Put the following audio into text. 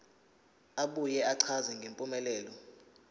abuye achaze ngempumelelo